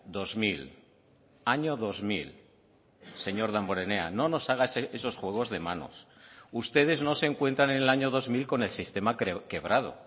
dos mil año dos mil señor damborenea no nos haga esos juegos de manos ustedes no se encuentran en el año dos mil con el sistema quebrado